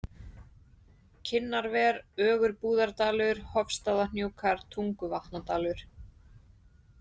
Kinnarver, Ögurbúðardalur, Hofstaðahnjúkar, Tunguvatnadalur